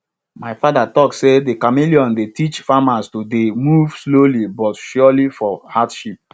my father talk say de chameleon dey teach farmers to dey move slowly but surely for hardship